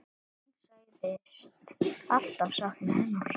Hún sagðist alltaf sakna hennar.